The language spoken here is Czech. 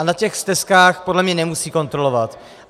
A na těch stezkách podle mě nemusí kontrolovat.